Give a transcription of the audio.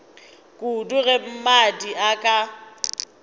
kudu ge mmadi a ka